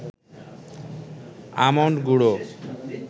almond গুঁড়ো